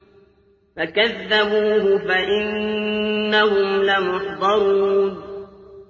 فَكَذَّبُوهُ فَإِنَّهُمْ لَمُحْضَرُونَ